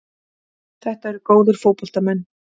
Þetta eru góðir fótboltamenn.